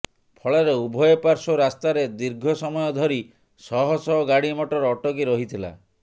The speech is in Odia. ଫଳରେ ଉଭୟ ପାର୍ଶ୍ୱ ରାସ୍ତାରେ ଦୀର୍ଘ ସମୟ ଧରି ଶହ ଶହ ଗାଡ଼ି ମଟର ଅଟକି ରହିଥିଲା